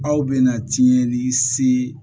Aw bɛna tiɲɛli se